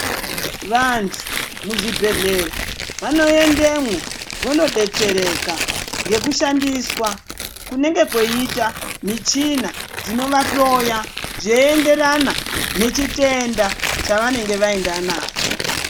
Vantu muzvibhedhlera vanoendemwo vanodetsereka ngekushandiswa kunenge kweiita michina dzinovahloya zveienderana nechitenda chavanenge vaenda nacho.